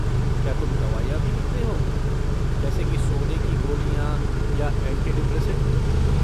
क्या तुम दवाइयाँ भी लिखते हो, जैसे कि सोने की गोलियाँ या ऐंटी डिप्रेसेंट?